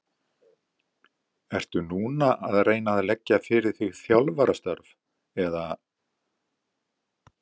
Ertu núna að reyna að leggja fyrir þig þjálfarastörf eða?